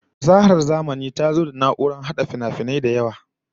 Fasahar zamani ta zo da na'urrorin hada finafinai da yawan gaske